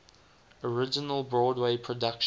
original broadway production